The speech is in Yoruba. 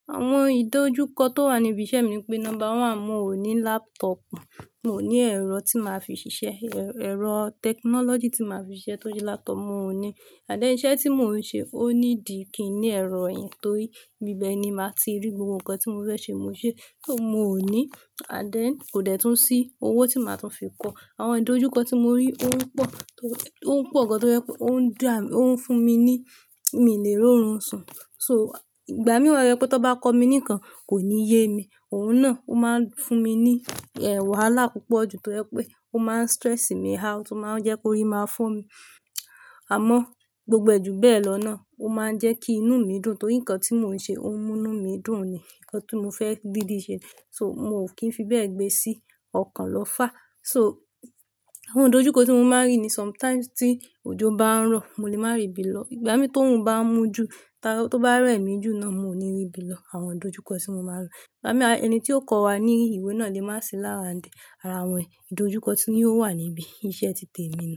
Àwọn ìdojúkọ tó wà ní ibi iṣẹ́ mi pé number one, mio ní laptop, mio ní ẹ̀rọ tí máa fi ṣiṣẹ́, ẹ̀rọ technology tí máa fi ṣiṣẹ́ tó jẹ́ laptop mio ní. And then iṣẹ́ tí mò ń ṣe ó need kí i ní ẹ̀rọ yìí torí ibíbẹ̀ ni màá ti rí gbogbo nǹkan tí mo fẹ́ ṣe mo ṣe. So mio ní and then kò dẹ́tún sí owó tí màá tún fi kọ. Àwọn ìdojúkọ tí mo rí ó ń pọ̀, ó ń pọ̀ gan tó jẹ pé ó ń dá, ó ń fún mi ní mi n lè rórun sun. So ìgbà mí wa to jẹ pé tón bá kọ mí nkan kò níyemi. Òhun náà ó máa ń fún mi ní wàhálà púpọ̀ ju tó jẹ pé ó máa ń stress mi out, ó máa ń jẹ́ kó rí máa fo mi. Àmọ́ gbogbo ẹ́ ju bẹ́ẹ̀ lọ náà ó máa ń jẹ́ kí inú mi dùn torí nǹkan tí mò ń ṣe ó ń mú inú mi dùn ni, nǹkan tí mo fẹ́ dídí ṣe. So mi ò kí ń fi bẹ́ẹ̀ gbé sí ọkàn lọ fá. So àwọn ìdojúkọ tí mo máa ń rí ní sometimes tí òjò bá ń rọ̀ mo lè máa rìbí lọ. Ìgbà mí tóorun bá ń mú ju, ta tó bá rẹ̀ mí jù náà mo ò ní rìbí lọ. Àwọn ìdojúkọ tí mo máa ń rí, ìgbà mí ẹni tí ó kọ́ wa ní ìwé náà lè má sì laround Àrà awọn ìdojúkọ tí ò wà níbí iṣẹ́ ti tèmi ni.